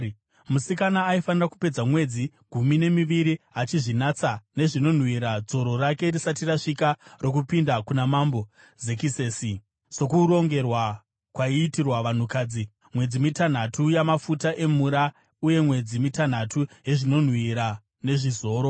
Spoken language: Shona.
Musikana aifanira kupedza mwedzi gumi nemiviri achizvinatsa nezvinonhuhwira dzoro rake risati rasvika rokupinda kuna mambo Zekisesi sokurongerwa kwaiitirwa vanhukadzi, mwedzi mitanhatu yamafuta emura uye mwedzi mitanhatu yezvinonhuhwira nezvizoro.